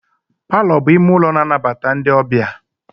Palọ bụ ime ụlọ a na-anabata ndị ọbịa.